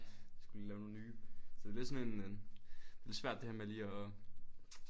Skulle lige lave nogen nye så det lidt sådan en øh det lidt svært det her med lige at